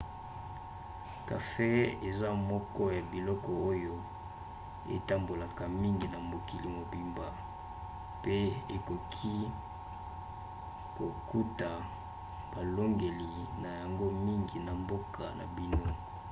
kafe eza moko ya biloko oyo etambolaka mingi na mokili mobimba pe okoki kokuta balolenge na yango mingi na mboka na bino